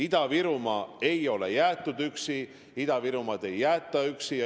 Ida-Virumaa ei ole jäetud üksi, Ida-Virumaad ei jäeta üksi.